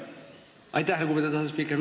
Aitäh, lugupeetud asespiiker!